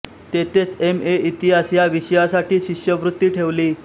तेथेच M A इतिहास या विषयासाठी शिष्यवृत्ती ठेवली